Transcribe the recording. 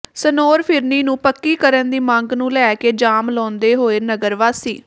ਸਨੌਰ ਫਿਰਨੀ ਨੂੰ ਪੱਕੀ ਕਰਨ ਦੀ ਮੰਗ ਨੂੰ ਲੈ ਕੇ ਜਾਮ ਲਾਉਂਦੇ ਹੋਏ ਨਗਰ ਵਾਸੀ